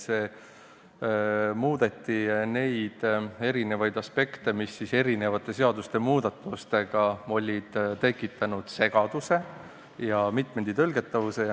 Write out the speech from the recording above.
Soovitakse muuta teatud aspekte, sest eri seadustes tehtud muudatuste tõttu on tekkinud segadust ja mitmeti tõlgendatavust.